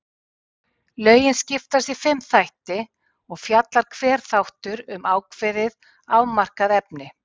Lögin skiptast í fimm þætti og fjallar hver þáttur um ákveðið, afmarkað efni.